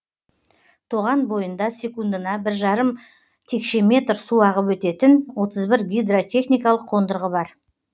тоған бойында секундына бір жарым текше метр су ағып өтетін отыз бір гидротехникалық қондырғы бар